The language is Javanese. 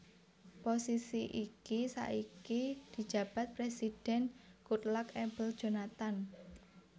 Posisi iki saiki dijabat Présidhèn Goodluck Ebele Jonathan